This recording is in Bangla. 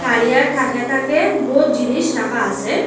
তারিয়ার থাকে থাকে বহুত জিনিস রাখা আসে।